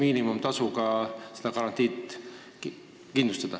Nad saaksid siis seda garantiid miinimumtasu eest kindlustada.